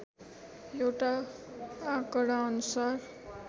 एउटा आँकडाअनुसार